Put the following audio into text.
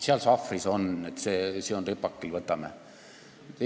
Seal sahvris on, see on ripakil, võtame sealt!